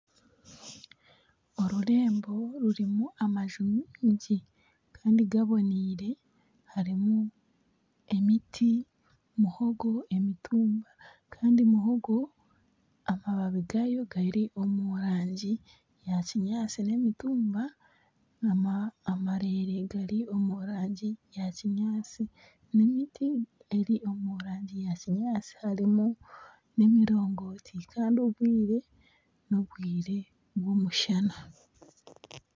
Orurembo rurimu amaju maingi kandi gaboneire. Harimu emiti, muhogo, emitumba. Kandi muhogo amababi gaayo gari omu rangi ya kinyaatsi n'emitumba amareere gari omu rangi eya kinyaatsi n'emiti eri omu rangi ya kinyaatsi harimu n'emirongooti. Kandi obwire n'obwire bw'omushana.